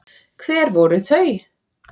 Hver voru þau?